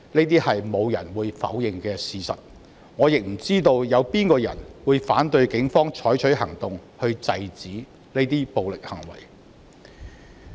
這是沒有人會否認的事實，我亦不知道有哪一個人會反對警方採取行動，制止這些暴力行為。